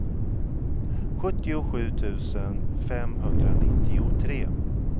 sjuttiosju tusen femhundranittiotre